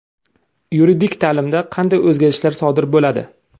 Yuridik ta’limda qanday o‘zgarishlar sodir bo‘ladi?.